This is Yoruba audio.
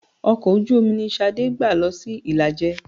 Ọkọ̀ ojú-omi ni Ṣadé gbà lọ sí Ìlàjẹ.